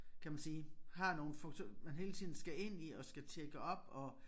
Kan man sige har nogle funktioner man hele tiden skal ind i og skal tjekke op og